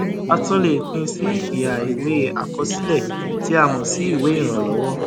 a tún lè pín sí iha ìwé àkọsílẹ tí a sì mọ sí ìwé ìrànlọwọ